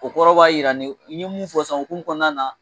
O kɔrɔ b'a jira nin i ye mun fɔ sisan la hukumu kɔnɔna na.